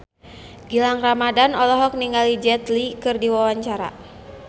Gilang Ramadan olohok ningali Jet Li keur diwawancara